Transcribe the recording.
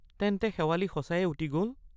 তেন্তে শেৱালি সচায়ে উটি গল?